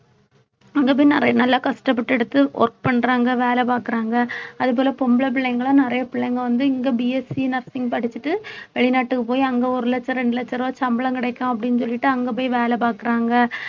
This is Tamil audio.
அங்க போய் நிறைய நல்லா கஷ்டப்பட்டு எடுத்து work பண்றாங்க வேலை பாக்குறாங்க அது போல பொம்பளை பிள்ளைங்க எல்லாம் நிறைய பிள்ளைங்க வந்து இங்க BSc Nursing படிச்சுட்டு வெளிநாட்டுக்கு போய் அங்க ஒரு லட்சம் ரெண்டு லட்ச ரூபாய் சம்பளம் கிடைக்கும் அப்படின்னு சொல்லிட்டு அங்க போய் வேலை பாக்குறாங்க